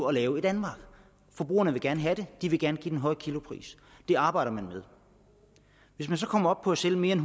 at lave i danmark forbrugerne vil gerne have den de vil gerne give den høje kilopris det arbejder man med hvis man så kommer op på at sælge mere end